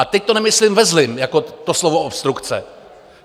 A teď to nemyslím ve zlém jako to slovo obstrukce.